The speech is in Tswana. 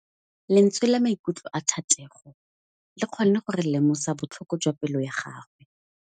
Lentswe la maikutlo a Thategô le kgonne gore re lemosa botlhoko jwa pelô ya gagwe.